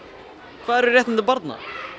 hvað eru réttindi barna